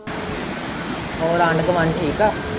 ਹੋਰ ਆਂਢ-ਗੁਆਂਢ ਠੀਕ ਏ।